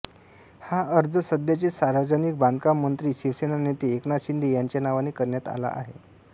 हा अर्ज सध्याचे सार्वजनिक बांधकाम मंत्री शिवसेना नेते एकनाथ शिंदे यांच्या नावाने करण्यात आला आहे